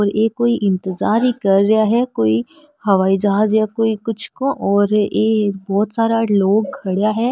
ये कोई इन्तिजार ही कर रहा है कोई हवाई जहाज या कुछ को और ये बहुत सारा लोग खड़ा है।